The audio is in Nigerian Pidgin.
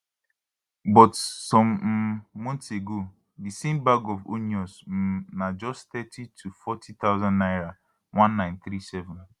but some um months ago di same bag of onions um na just thirty to forty thousand naira 1937